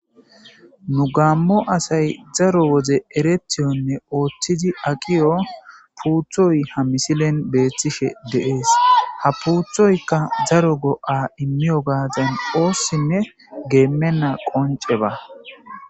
nu gaammo asay zaro woze erethiyonne ooththidi aqiyo puuthoy ha misilen beeththishe deees ha puuthoykka zaro go7a immiyo gaazan oossinne geemenna qonceba